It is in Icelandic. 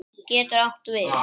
Getur átt við